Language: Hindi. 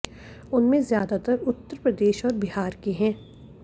उनमें ज्यादातर उत्तर प्रदेश और बिहार के हैं